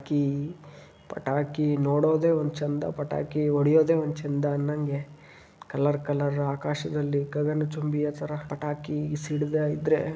ಪಟಾಕಿ ಪಟಾಕಿ ನೋಡೊದೆ ಒಂದ ಚಂದ. ಪಟಾಕಿ ಹೊಡಿಯೋದೇ ಒಂದು ಚೆಂದ ನಂಗೆ. ಕಲರ್ ಕಲರ್ ಆಕಾಶದಲ್ಲಿ ಗಗನಚುಂಬಿಯ ತರ ಪಟಾಕಿ ಸಿಡಿದಾಇದ್ದ್ರೆ--